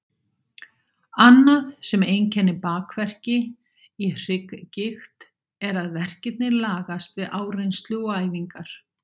Annað sem einkennir bakverki í hrygggigt er að verkirnir lagast við áreynslu og æfingar.